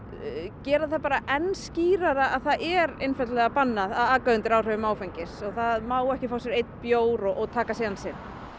gera það enn skýrara að það er einfaldlega bannað að aka undir áhrifum áfengis það má ekki fá sér einn bjór og taka sénsinn